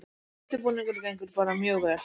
Undirbúningurinn gengur bara mjög vel